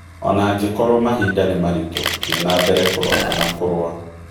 Ona ngĩkorwo mahinda nĩ maritũ, thiĩ nambere kũrota na kũrũa.